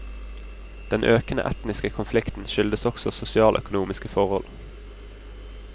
Den økende etniske konflikten skyldes også sosialøkonomiske forhold.